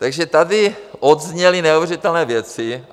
Takže tady odezněly neuvěřitelné věci.